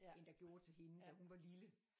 End der gjorde til hende da hun var lille